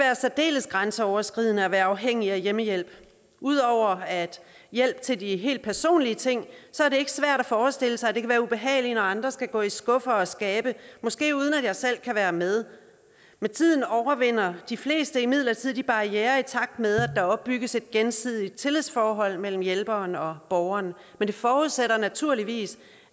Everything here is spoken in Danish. særdeles grænseoverskridende at være afhængig af hjemmehjælp ud over hjælp til de helt personlige ting er det ikke svært at forestille sig at det kan være ubehageligt når andre skal gå i skuffer og skabe måske uden at man selv kan være med med tiden overvinder de fleste imidlertid de barrierer i takt med at der opbygges et gensidigt tillidsforhold mellem hjælperen og borgeren men det forudsætter naturligvis